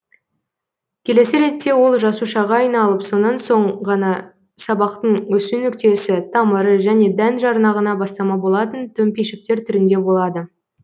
келесі ретте ол жасушаға айналып сонан соң ғана сабақтың өсу нүктесі тамыры және дән жарнағына бастама болатын төмпешіктер түрінде болады